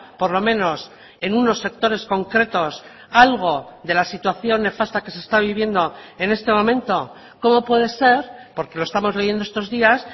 por lo menos en unos sectores concretos algo de la situación nefasta que se está viviendo en este momento cómo puede ser porque lo estamos leyendo estos días